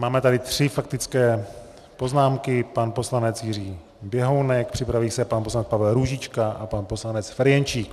Máme tady tři faktické poznámky - pan poslanec Jiří Běhounek, připraví se pan poslanec Pavel Růžička a pan poslanec Ferjenčík.